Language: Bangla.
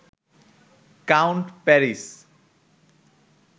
count Paris